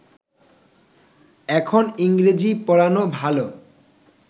এখন ইংরেজী পড়ানো ভালো